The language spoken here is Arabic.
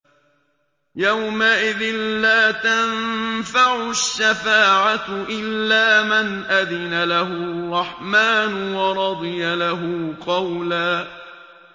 يَوْمَئِذٍ لَّا تَنفَعُ الشَّفَاعَةُ إِلَّا مَنْ أَذِنَ لَهُ الرَّحْمَٰنُ وَرَضِيَ لَهُ قَوْلًا